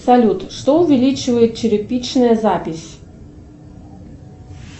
салют что увеличивает черепичная запись